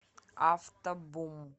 автобум